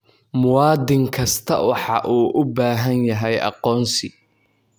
Muwaadin kasta waxa uu u baahan yahay aqoonsi.